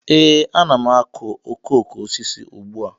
Ee, ana m akụ okoko osisi ugbu a